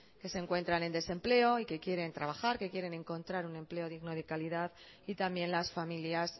que se encuentran en desempleo y que quieren trabajar que quieren encontrar un empleo digno y de calidad y también las familias